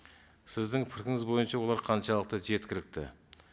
сіздің пікіріңіз бойынша олар қаншалықты жеткілікті